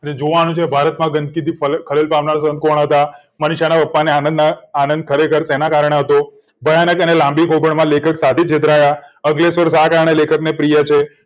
જોવા નું છે ભારત માં ગંદકી થી પરેશાન થનારા કોણ હતા મનીષા નાં પપ્પા ને આનંદ ખરેખર શેના કારણે હતો લેખક સાધુ છેતરાયા અંકલેશ્વર શા કારણે લેખક ને પ્રિય છે